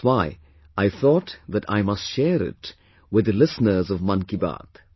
That's why I thought that I must share it with the listeners of 'Mann Ki Baat'